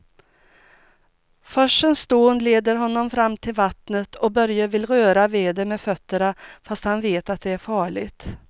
Forsens dån leder honom fram till vattnet och Börje vill röra vid det med fötterna, fast han vet att det är farligt.